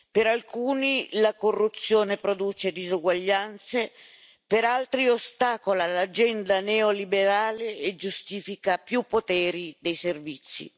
Per alcuni la corruzione produce disuguaglianze, per altri, ostacola l'agenda neoliberale e giustifica più poteri dei servizi.